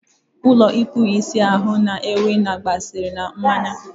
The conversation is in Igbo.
ulo ikpu isi ahụ na ewi na-agba asịrị na mmanya